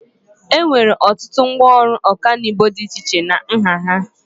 Enwere ọtụtụ ngwaọrụ ọkanibo dị iche iche na nha ha.